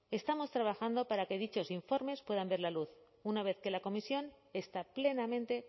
estamos trabajando para que dichos informes puedan ver la luz una vez que la comisión está plenamente